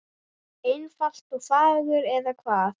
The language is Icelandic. Einfalt og fagurt, eða hvað?